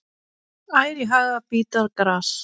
Ær í haga bíta gras.